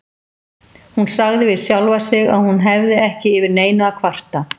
Hún sagði við sjálfa sig að hún hefði ekki yfir neinu að kvarta.